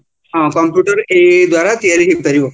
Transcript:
ହଁ computer ଏଇ ଏଇ ଦ୍ଵାରା ତିଆରି ହେଇପାରିବ